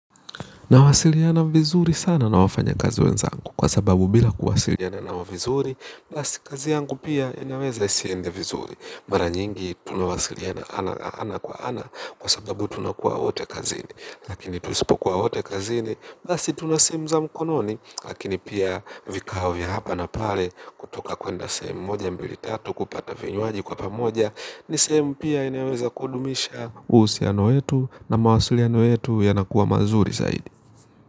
Nawasiliana vizuri sana na wafanya kazi wenzangu kwa sababu bila kuwasiliana nao vizuri. Basi kazi yangu pia inaweza isiende vizuri. Mara nyingi tunawasiliana ana kwa ana kwa sababu tunakuwa wote kazini. Lakini tusipokuwa wote kazini basi tuna simu za mkononi. Lakini pia vikao vya hapa na pale kutoka kwenda sehemuu moja mbili tatu kupata vinyuaji kwa pamoja. Ni sehemu pia inaweza kudumisha uhusiano wetu na mawasiliano yetu yanakuwa mazuri zaidi.